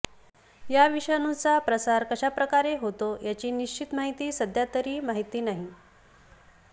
या विषाणूचा प्रसार कशाप्रकारे होतो याची निश्चित माहिती सध्या तरी माहिती नाही